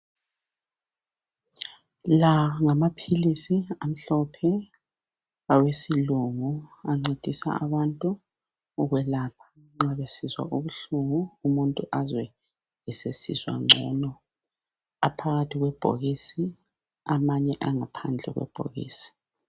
La ngama philisi amhlophe awesilungu ancedisa abantu ukwelapha nxa besizwa ubuhlungu umuntu azwe esesizwa ngcono. Aphakathi kwebhokisi amanye angaphandle kwebhokisi.